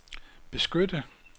beskytte